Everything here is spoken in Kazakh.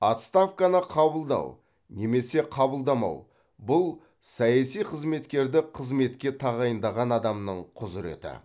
отставканы қабылдау немесе қабылдамау бұл саяси қызметкерді қызметке тағайындаған адамның құзыреті